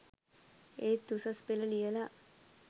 ඒත් උසස් පෙළ ලියලා